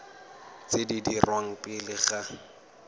tse di dirwang pele ga